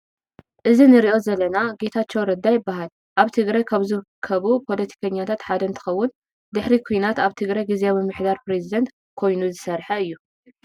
እዚ ንሪኦ ዘለና ጌታቸው ረዳ ይበሃል ። አብ ትግራይ ካብ ዝርከቡ ፖሎቲከኛታት ሓደ እንትከውን ድሕሪ ኩናት አብ ትግራይ ግዜያዊ ምምሕዳር ፕሬዚዳንት ኮይኑ ዝስርሐ እዩ ።